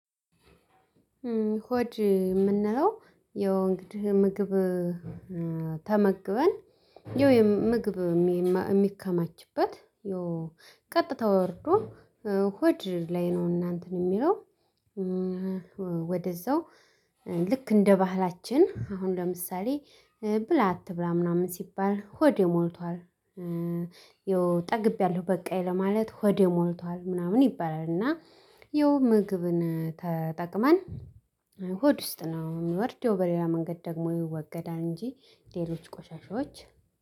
ሆድ የምንለው የወንድ ምግብ ተመግበን የውይ ምግብ የሚከማችበት የውይ ቀጥታ ወርዶ ሆጅ ላይ ነው። እናንተን የሚለው ወደዛው ልክ እንደ ባህላችን አሁን ለምሳሌ ብላ አትብላ ምናምን ሲባል ሆዴ ሞልቷል ጠግቤያለሁ በቃ ለማለት ሆዴ ሞልቷል ምናምን ይባላል። እና ይሁን ምግብን ተጠቅመን ሆድ ውስጥ ነው የሚወርድ የሌላ መንገድ ደግሞ ይወገዳል። እንጂ ሌሎች ቆሻሻዎች